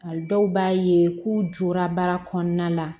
A dɔw b'a ye k'u jɔra baara kɔnɔna la